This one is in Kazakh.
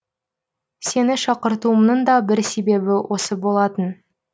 сені шақыртуымның да бір себебі осы болатын